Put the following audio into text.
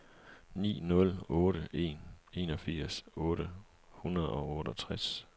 ni nul otte en enogfirs otte hundrede og otteogtres